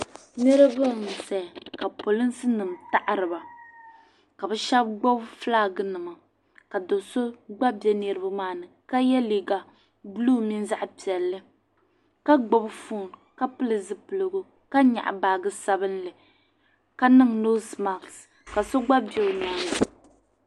Niriba n zaya ka polisinima taɣiriba ka shɛba gbubi filaŋnima ka do'so gba bɛ niriba maani ka ye liiga buluu mini zaɣ'piɛlli ka gbubi fooni ka pili zupiligu ka nyaɣi baaje sabinli ka niŋ noosi maɣisi ka so gba bɛ o nyaaŋa